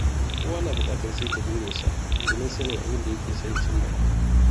Kowa na bukatar saita burinsa domin sanin abin da yake son cimmawa.